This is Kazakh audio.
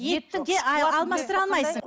етті де алмастыра алмайсың